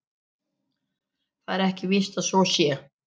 Það er ekki víst að svo sé.